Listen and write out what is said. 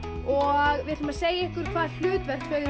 og við ætlum að segja ykkur hvaða hlutverk þau